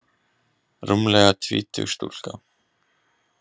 Rúmlega tvítug stúlka.